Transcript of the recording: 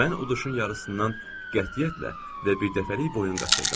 Mən uduşun yarısından qətiyyətlə və birdəfəlik boyun qaçırdım.